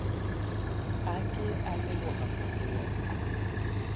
a ke a leboga mogopo